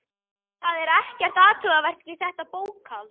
Það er ekkert athugavert við þetta bókhald.